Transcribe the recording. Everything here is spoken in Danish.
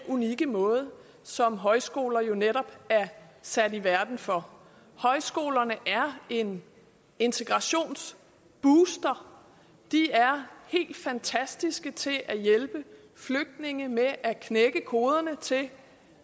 unikke måde som højskoler jo netop er sat i verden for højskolerne er en integrationsbooster de er helt fantastiske til at hjælpe flygtninge med at knække koderne til